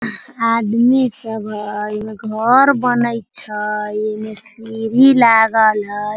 आदमी सब हई एम्मे घर बनइ छई एने सीढ़ी लागल हई।